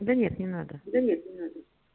да нет не надо да нет не надо